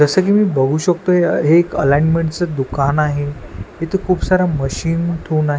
जसं की मी बघू शकतो हे एक अलायनमेंटच दुकान आहे इथे खूप सारा मशीन ठेवून आहे.